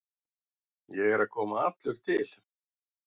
Ég er að koma allur til.